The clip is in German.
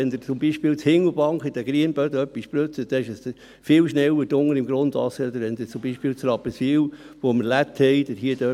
Wenn Sie zum Beispiel in Hindelbank auf den Schotterböden etwas spritzen, ist dies viel schneller unten im Grundwasser als zum Beispiel in Rapperswil, wo wir Lehmboden haben.